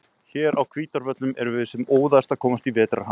Hér á Hvítárvöllum erum við sem óðast að komast í vetrarham.